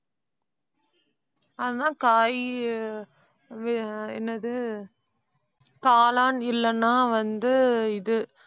அதான் காய், வெ~ அஹ் என்னது? காளான் இல்லன்னா வந்து இது.